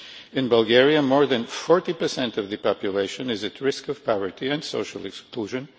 In Bulgaria more than 40 of the population is at risk of poverty and social exclusion.